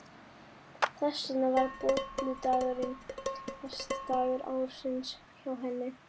Þess vegna var bolludagurinn versti dagur ársins hjá henni.